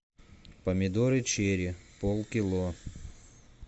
помидоры черри пол кило